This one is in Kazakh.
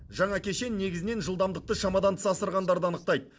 жаңа кешен негізінен жылдамдықты шамадан тыс асырғандарды анықтайды